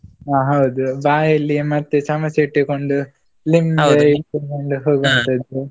ಹ ಹೌದು, ಬಾಯಲ್ಲಿ ಮತ್ತೆ ಚಮಚ ಇಟ್ಟುಕೊಂಡು ಇಟ್ಟುಕೊಂಡು .